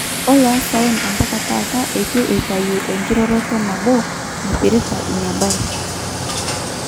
Oloosaen ompaka taata eitu eitayu inkiroroto nabo naipirta inabae .